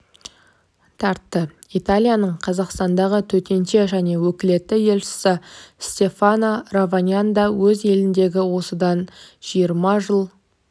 тартты италияның қазақстандағы төтенше және өкілетті елшісі стефано раваньян да өз еліндегі осыдан жиырма жыл